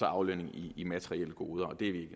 aflønning i materielle goder og det er vi